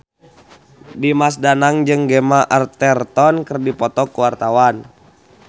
Dimas Danang jeung Gemma Arterton keur dipoto ku wartawan